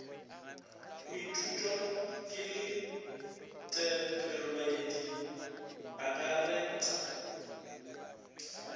go ithutwa kelotpweledi e akaretpa